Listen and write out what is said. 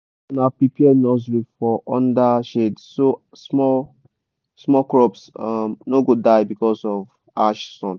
make una prepare nursery for under shadeso small small crops um no go die because of harsh sun.